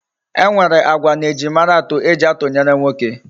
E nwere agwa na ejimara atu eji atunyere nwoke. E